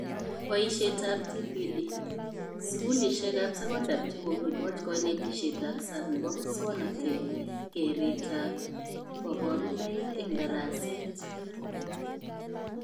Boishetab TPD: skulishekab sekondar chekokikoch konetishetab sang nebo muswonotet, keretab kaborunoik eng daraset